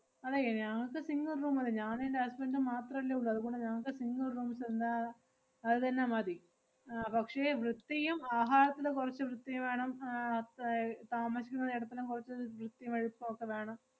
അതെ ഞങ്ങക്ക് single room മതി. ഞാനും എന്‍റെ husband ഉം മാത്രല്ലേ ഉള്ള്, അതുകൊണ്ട് ഞങ്ങൾക്ക് single room തന്നെ അതുതന്നെ മതി. ആഹ് പക്ഷേ വൃത്തിയും ആഹാരത്തില് കൊറച്ച് വൃത്തിയും വേണം ആഹ് താ~ ഏർ താമസിക്കുന്ന എടത്തിലും കൊറച്ച് വ്~ വൃത്തിയും വെടിപ്പും ഒക്കെ വേണം.